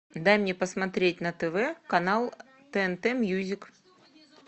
дай мне посмотреть на тв канал тнт мьюзик